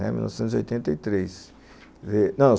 É, mil novecentos e oitenta e três.